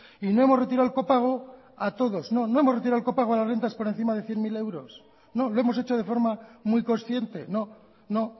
y no hemos retirado el copago a todos no no hemos retirado el copago a las rentas por encima de cien mil euros no lo hemos hecho de forma muy consciente no no